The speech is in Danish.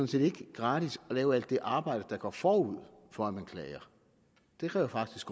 set ikke gratis at lave alt det arbejde der går forud for at man klager det kræver faktisk